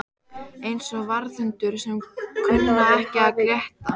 Eins og varðhundar sem kunna ekki að gelta